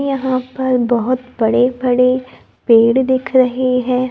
यहां पर बहोत बड़े बड़े पेड़ दिख रही है।